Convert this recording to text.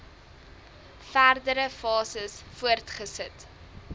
verdere fases voortgesit